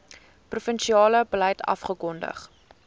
provinsiale beleid afgekondig